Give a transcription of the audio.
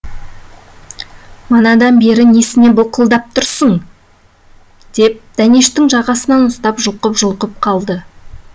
манадан бері несіне былқылдатып тұрсың деп дәнештің жағасынан ұстап жұлқып жұлқып қалды